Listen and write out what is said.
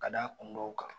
Ka da kun dɔw kan